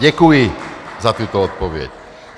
Děkuji za tuto odpověď.